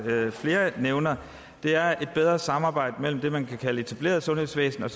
nævner er et bedre samarbejde mellem det man kan kalde det etablerede sundhedsvæsen